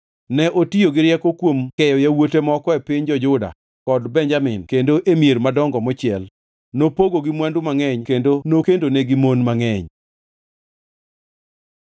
Ne otiyo gi rieko kuom keyo yawuote moko e piny jo-Juda kod Benjamin kendo e mier madongo mochiel. Nopogogi mwandu mangʼeny kendo nokendonigi mon mangʼeny.